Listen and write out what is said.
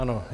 Ano.